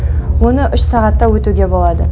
оны үш сағатта өтуге болады